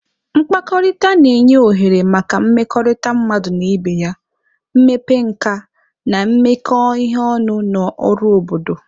Mkpakọrịta na-enye ohere maka mmekọrịta mmadụ na ibe ya, mmepe nka, na imekọ ihe ọnụ na ọrụ obodo.